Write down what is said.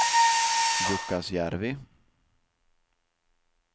Jukkasjärvi